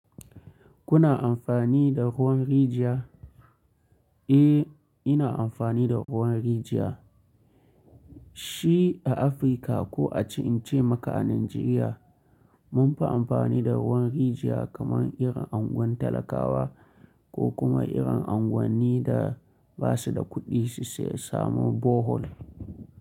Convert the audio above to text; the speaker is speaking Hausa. Kuna amfani da ruwan rijiya? Eh, ina amfani da ruwan rijiya. Shi a Afirka ko a ce in ce maka a Najeriya, mun fi amfani da ruwan rijiya, kaman irin anguwan talakawa ko kuma irin anguwanni da ba su da kuɗi, su samu Bohol.